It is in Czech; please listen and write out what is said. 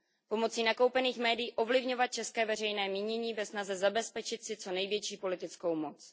Pomocí nakoupených médií ovlivňovat české veřejné mínění ve snaze zabezpečit si co největší politickou moc.